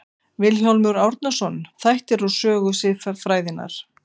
Vilhjálmur Árnason, Þættir úr sögu siðfræðinnar.